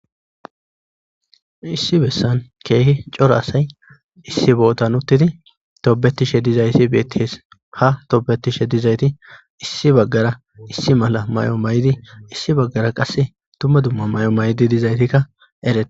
Issi bessan keehi cora asay issi bootan uttidi toobetishe dizayti beettes ha toobetishe dizayti issi baggara issi mala may' may'di issi baggara qass dumma dumma may'di dizaytikka eree.